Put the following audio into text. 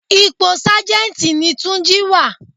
Ipò Sájẹ́ntì ní túnjí wà á.